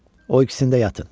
O ikisində yatın.